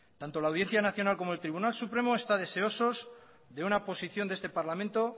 tanto la audiencia nacional como el tribunal supremo están deseosos de una oposición de este parlamento